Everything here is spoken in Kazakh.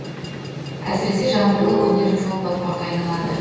әсіресе жаңбырлы күндері жол батпаққа айналады